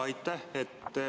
Aitäh!